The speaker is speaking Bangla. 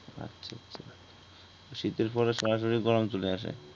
শীতের পরে সরাসরি গরম চলে আসে